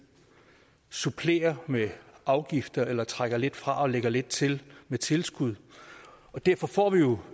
supplerer med afgifter eller trækker lidt fra og lægger lidt til med tilskud og derfor får vi jo